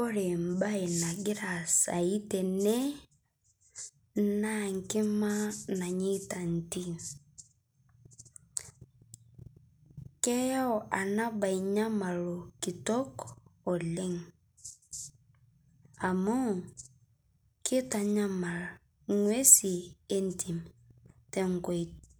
Ore embae nagira aasai tene naa nkima nanyaita ntimi. keyau enaba nyamalo kitok oleng amu kitanyamal ingwesin entim ,